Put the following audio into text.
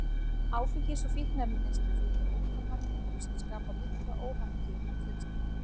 Áfengis- og fíkniefnaneyslu fylgja ótal vandamál sem skapa mikla óhamingju innan fjölskyldna.